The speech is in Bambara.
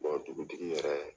dugutigi yɛrɛ